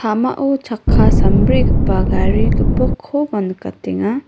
chakka sambrigipa Gari gipokkoba nikatenga.